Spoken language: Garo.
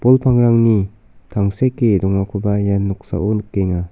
bol pangrangni tangseke dongakoba ia noksao nikenga.